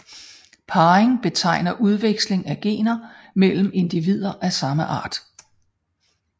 Parring betegner udveksling af gener mellem individer af samme art